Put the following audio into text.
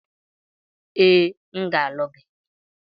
Ee, aga m alụ gị.